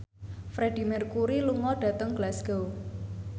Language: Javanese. Freedie Mercury lunga dhateng Glasgow